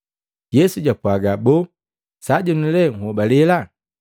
Yesu japwaaga, “Boo, sajenu lee nhobalela?